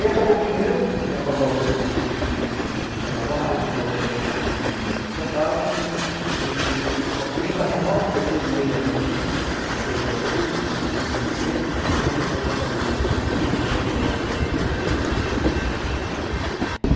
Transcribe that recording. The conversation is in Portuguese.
Aí acabou o dinheiro, o ''Quem Apagou a Luz'' não me sustentava mais, os outros também não me sustentavam, e eu vim para São Paulo, fiquei seis meses ainda aqui, tentei por aqui, não consegui me manter, e voltei para Fortaleza em mil novecentos e noventa e sete, depois de dois anos, Rio-São Paulo.